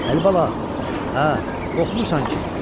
Əlibala, hə, qorxmursan ki.